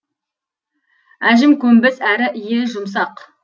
әжем көнбіс әрі иі жұмсақ